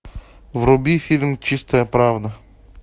вруби фильм чистая правда